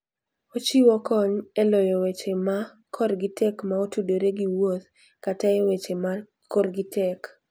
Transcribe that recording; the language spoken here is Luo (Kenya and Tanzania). Ochiwo kony e loyo weche ma korgi tek ma otudore gi wuoth kata e weche ma korgi tek.